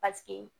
Paseke